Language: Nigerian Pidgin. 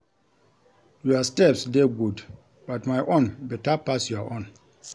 Your steps dey good but my own beta pass your own